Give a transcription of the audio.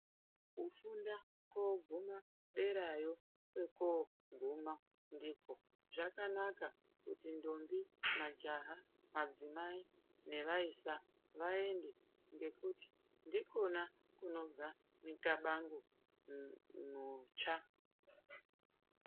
Kufunda koguma derayo kwekoguma ndiko. Zvakanaka kuti ndombi, majaha, madzimai nevaisa vaende nekuti ndikona kunobva mutxabango mutsva.